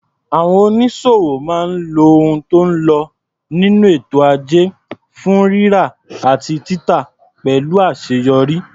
Àwọn onísòwò máa ń lo ohun tó ń lo nínú ètò ajé fún rírà àti títà pẹ̀lú àṣeyọrí.